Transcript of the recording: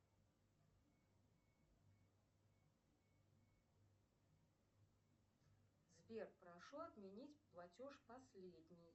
сбер прошу отменить платеж последний